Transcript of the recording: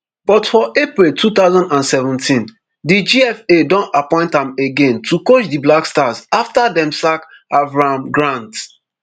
but for april two thousand and seventeen di gfa don appoint am again to coach di black stars afta dem sack avram grant